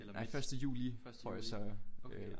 Eller midt? Første juli okay